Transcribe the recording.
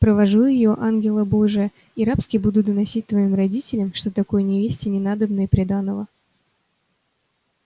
провожу её ангела божия и рабски буду доносить твоим родителям что такой невесте не надобно и приданого